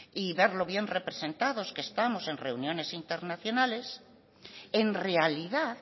y ver lo bien representados que estamos en reuniones internacionales en realidad